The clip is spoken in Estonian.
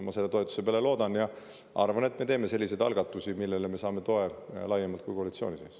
Ma selle toetuse peale loodan ja arvan, et me teeme selliseid algatusi, millele me saame toe laiemalt kui koalitsiooni sees.